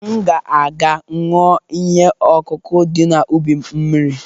M ga-aga ṅụọ ihe ọkụkụ dị n’ubi m mmiri